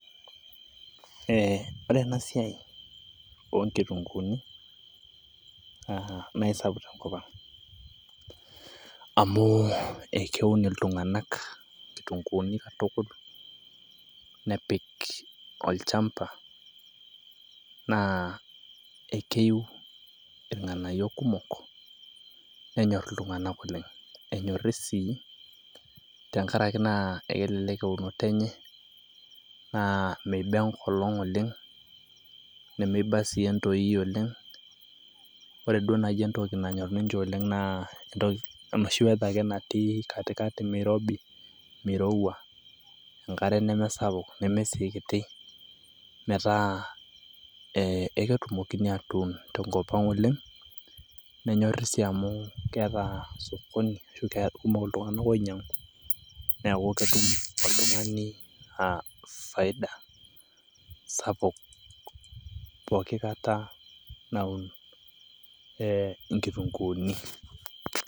Ore ena siaai onkitunguuni naa esapuk te nkopang',amu ekeun ltunganak kitunguuni katukul nepik olchamba naa ekeiu lng'anayok kumok nenyorr ltunganak oleng, enyori si tengaraki naa ekelelek eunoto enye naa meiba enkolong' oleng nemeiba si entoiyii oleng, ore duo naijo entoki nanyorr ninye oleng naa enoshi weather natii katikati meirobi, meirouwua, enkare nemesapuk nemee si ekiti metaa eketumokini atuun te nkopang oleng, nenyori sii amu keeta osokoni ashu kekumok ltunganak oinyang'u naa ketum oltungani faida sapuk pooki kata naun nkitunguuni